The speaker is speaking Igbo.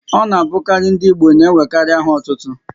Ọ na abụkarị ndị Igbo n'enwekarị áhà ótútú